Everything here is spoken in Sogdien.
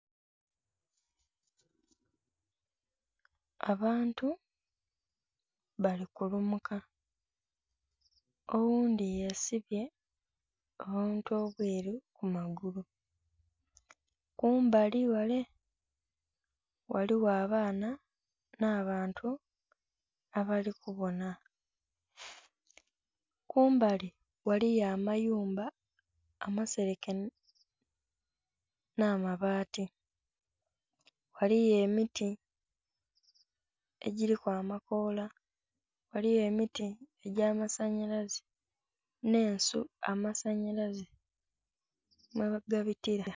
Abantu bali kulumuka oghundhi yesibye obuntu obweru ku magulu, kumbali ghale ghaligho abaana nha bantu abali kubonha. Kumbali ghaligho amayumba amasereke nha mabati, ghaligho emiti egiliku amakoola, ghaligho emiti egya masanhalaze nhe ensu amasanhalaze mwe gabitila.